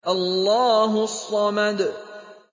اللَّهُ الصَّمَدُ